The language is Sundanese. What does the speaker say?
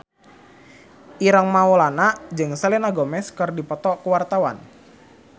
Ireng Maulana jeung Selena Gomez keur dipoto ku wartawan